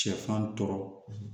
Sɛfan tɔɔrɔ